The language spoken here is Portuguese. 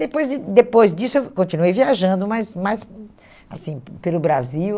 Depois de depois disso, eu continuei viajando, mas mais hum assim pe pelo Brasil.